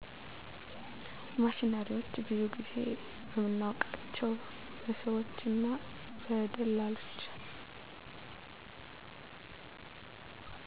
ማሽነሪዎች ብዙን ጊዜ በምናውቃቸው በሰዎች እና በደላሎች